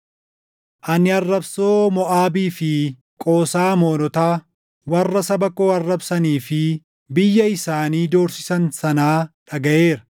“Ani arrabsoo Moʼaabii fi Qoosaa Amoonotaa, warra saba koo arrabsanii fi biyya isaanii doorsisan sanaa dhagaʼeera.